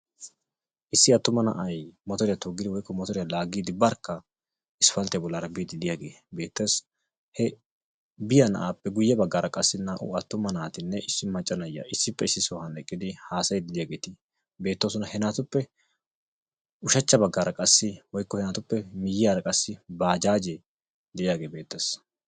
Issi attuma na'ay motoriyaa toggidi woykko laaggidi barkka Isppalttiya bollara biiddi de'iyage beettes. He biyaa na'ape guye baggara qassi naa'u attuma naatinne issi maccaa na'iya issipe issi sohuwan eqqidi hasayidi de'iyageeti beettosona. He naatupe ushachcha baggara qassi woykko he naatupe miyiyaara qassi baajaaje de'iyage beettes.